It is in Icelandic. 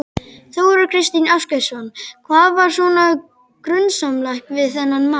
Þóra Kristín Ásgeirsdóttir: Hvað var svona grunsamlegt við þennan mann?